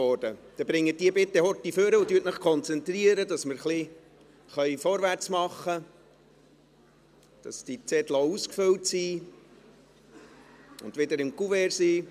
– Dann bringen Sie sie bitte kurz nach vorne und konzentrieren Sie sich, sodass wir vorwärtsmachen können und die Zettel auch ausgefüllt und zurück im Kuvert sind.